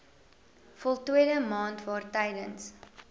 voltooide maand waartydens